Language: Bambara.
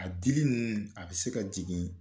A dili ninnu a bɛ se ka jigin